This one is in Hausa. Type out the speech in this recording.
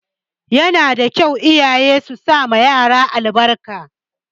Yana da kyau iyaye su sama yaran su albarka.